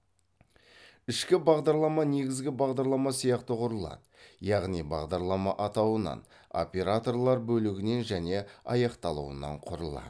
ішкі бағдарлама негізгі бағдарлама сияқты құрылады яғни бағдарлама атауынан операторлар бөлігінен және аяқталуынан құрылады